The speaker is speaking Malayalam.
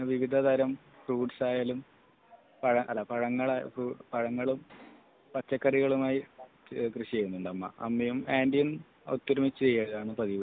ഇപ്പം കുറെ കൊല്ലമായി വിവിധതരം ഫ്രൂട്സ് ആയാലും പഴങ്ങൾ അല്ല പഴങ്ങളും പച്ചക്കറികളുമായി കൃഷി ചെയ്യുന്നുണ്ട് അമ്മ അമ്മയോ ആന്റിയും ഒത്തൊരുമിച്ചു ചെയ്യുകയാണ് പതിവ്